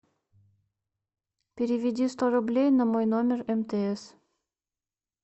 переведи сто рублей на мой номер мтс